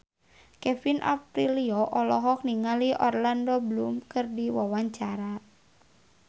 Kevin Aprilio olohok ningali Orlando Bloom keur diwawancara